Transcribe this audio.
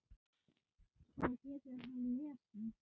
Svo getur hann lesið.